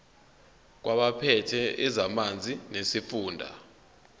kwabaphethe ezamanzi nesifunda